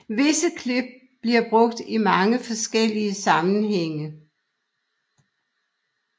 Visse klip bliver brugt i mange forskellige sammenhænge